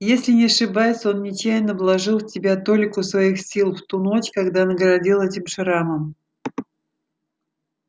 если не ошибаюсь он нечаянно вложил в тебя толику своих сил в ту ночь когда наградил этим шрамом